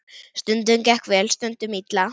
Stundum gekk vel, stundum illa.